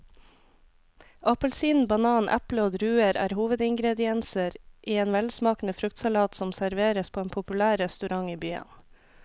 Appelsin, banan, eple og druer er hovedingredienser i en velsmakende fruktsalat som serveres på en populær restaurant i byen.